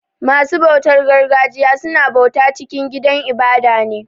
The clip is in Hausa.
Basu bautar gargajiya su na bauta cikin gidan ibada ne.